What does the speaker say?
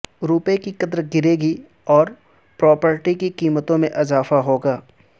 روپے کی قدر گرے گی اور پراپرٹی کی قیمتوں میں اضافہ ہوگا